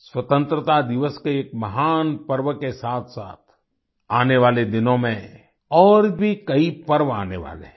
स्वतंत्रता दिवस के महान पर्व के साथसाथ आने वाले दिनों में और भी कई पर्व आने वाले हैं